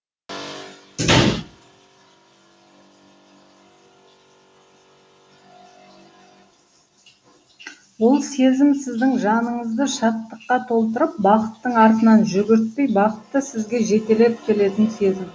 ол сезім сіздің жаныңызды шаттыққа толтырып бақыттың артынан жүгіртпей бақытты сізге жетелеп келетін сезім